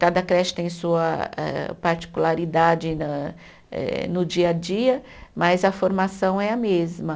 Cada creche tem sua eh particularidade na eh no dia a dia, mas a formação é a mesma.